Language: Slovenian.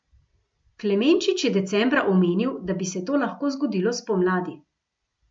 Klemenčič je decembra omenil, da bi se to lahko zgodilo spomladi.